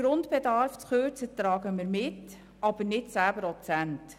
Die Kürzung des Grundbedarfs tragen wir mit, aber nicht um 10 Prozent.